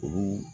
Olu